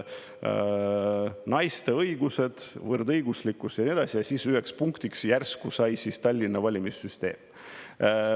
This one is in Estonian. Naiste õigused, võrdõiguslikkus ja nii edasi, ja siis üheks punktiks järsku sai Tallinna valimissüsteem.